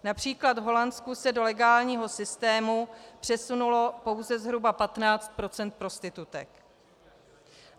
Například v Holandsku se do legálního systému přesunulo pouze zhruba 15 % prostitutek.